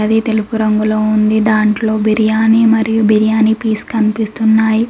అది తెలుపు రంగులో ఉంది దాంట్లో బిర్యానీ మరియు బిర్యానీ పీస్ కనిపిస్తున్నాయ్.